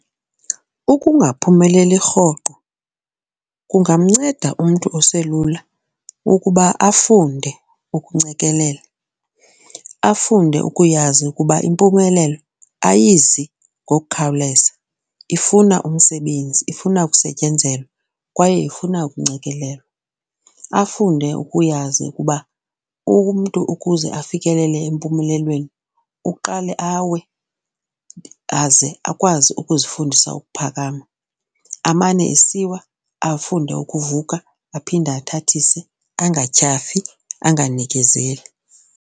Ukungaphumeleli rhoqo kungamnceda umntu oselula ukuba afunde ukuncekelela, afunde ukuyazi ukuba impumelelo ayizi ngokukhawuleza ifuna umsebenzi, ifuna kusetyenzelwe kwaye ifuna ukuncencekelelwa. Afunde ukuyazi ukuba umntu ukuze afikelele empumelelweni uqale awe aze akwazi ukuzifundisa ukuphakama, amane esiwa afunde ukuvuka aphinde athathise. Angatyhafi, anganikezeli.